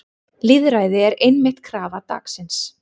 Lýðræði er einmitt krafa dagsins.